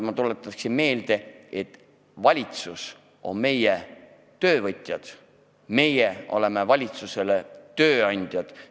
Ma tuletan meelde, et valitsus on meie töövõtja, meie oleme valitsusele tööandjad.